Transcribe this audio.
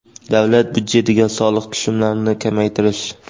davlat byudjetiga soliq tushumlarini kamaytirish;.